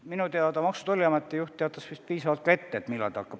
Minu teada Maksu- ja Tolliameti juht teatas piisavalt pikalt ette, millal ta lahkub.